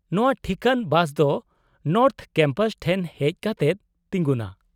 -ᱱᱚᱶᱟ ᱴᱷᱤᱠᱟᱹᱱ ᱵᱟᱥ ᱫᱚ ᱱᱚᱨᱛᱷᱚ ᱠᱮᱢᱯᱟᱥ ᱴᱷᱮᱱ ᱦᱮᱡ ᱠᱟᱛᱮᱫ ᱛᱤᱜᱩᱱᱟ ᱾